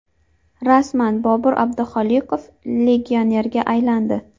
Rasman: Bobur Abduxoliqov legionerga aylandi.